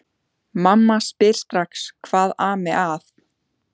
Mamma spyr strax hvað ami að.